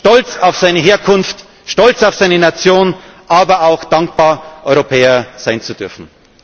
in Vielfalt, stolz auf seine Herkunft, stolz auf seine Nation, aber auch dankbar, Europäer sein zu dürfen.